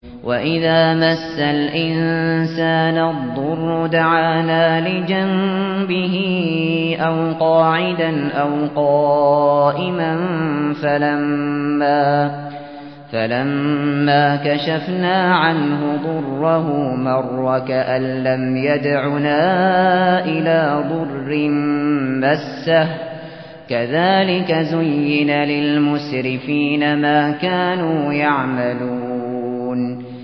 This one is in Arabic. وَإِذَا مَسَّ الْإِنسَانَ الضُّرُّ دَعَانَا لِجَنبِهِ أَوْ قَاعِدًا أَوْ قَائِمًا فَلَمَّا كَشَفْنَا عَنْهُ ضُرَّهُ مَرَّ كَأَن لَّمْ يَدْعُنَا إِلَىٰ ضُرٍّ مَّسَّهُ ۚ كَذَٰلِكَ زُيِّنَ لِلْمُسْرِفِينَ مَا كَانُوا يَعْمَلُونَ